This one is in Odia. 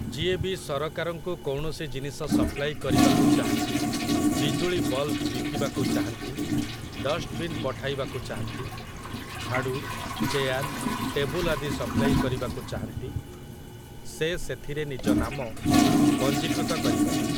ଯିଏ ବି ସରକାରଙ୍କୁ କୌଣସି ଜିନିଷ ସପ୍ଲାଇ କରିବାକୁ ଚାହାଁନ୍ତି ,ବିଜୁଳି ବଲ୍‌ବ ବିକିବାକୁ ଚାହାଁନ୍ତି, ଡଷ୍ଟବିନ୍ ପଠାଇବାକୁ ଚାହାଁନ୍ତି, ଝାଡ଼ୁ, ଚେୟାର, ଟେବୁଲ ଆଦି ସପ୍ଲାଇ କରିବାକୁ ଚାହାଁନ୍ତି, ସେ ସେଥିରେ ନିଜ ନାମ ପଞ୍ଜୀକୃତ କରିପାରିବେ ।